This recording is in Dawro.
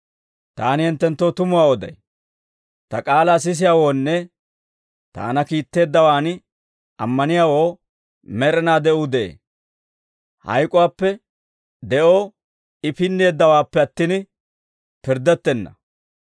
«Taani hinttenttoo tumuwaa oday; ta k'aalaa sisiyaawoonne taana kiitteeddawaan ammaniyaawoo med'inaa de'uu de'ee. Hayk'uwaappe de'oo I pinneeddawaappe attin, pirddettenna.